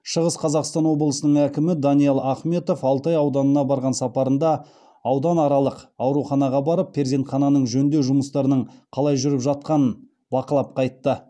шығыс қазақстан облысының әкімі әкімі даниал ахметов алтай ауданына барған сапарында ауданаралық ауруханаға барып перзентхананың жөндеу жұмыстарының қалай жүріп жатқанын бақылап қайтты